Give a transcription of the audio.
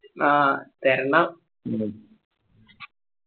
ആ തര്ണം